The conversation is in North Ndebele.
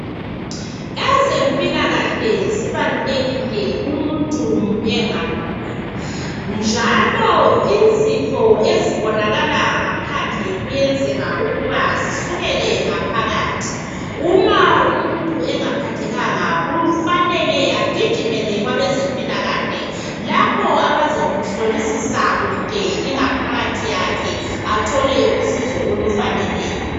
Ezempilakahle kumuntu munye ngamunye njalo izifo ezibonakala ngaphandle kuyenzeka ukuba zisukele ngaphakathi uma umuntu engaphathekanga kufanele agijimele lapho abzamuhlolisisa ingaphakathi yakhe athole usizo olufaneleyo